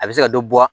A bɛ se ka dɔ bɔ